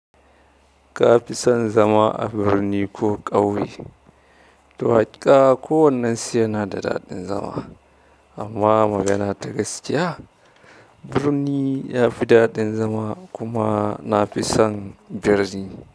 Ka fi son zama a birni ko ƙauye? To haƙiƙa kowannensu yana da daɗin zama amma magana ta gaskiya, birni ya fi daɗin zama kuma na fi son birni.